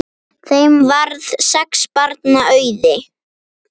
Þeim varð sex barna auðið.